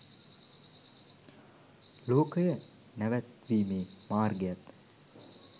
ලෝකය නැවැත්වීමේ මාර්ගයත්